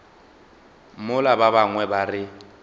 mola ba bangwe ba re